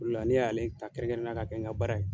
O de la ne y'ale ta kɛrɛnkɛrɛn na k'a kɛ n ka baara ye.